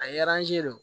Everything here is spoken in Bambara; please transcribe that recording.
A ye don